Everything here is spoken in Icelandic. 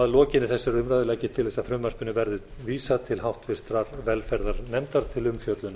að lokinni þessari umræðu legg ég til að frumvarpinu verði vísað til háttvirtrar velferðarnefndar til umfjöllunar